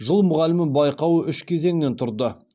жыл мұғалімі байқауы үш кезеңнен тұрды